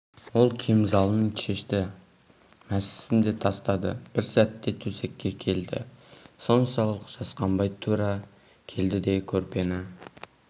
ол кемзалын шешті мәсісін де тастады бір сәтте төсекке келді соншалық жасқанбай тура келді де көрпені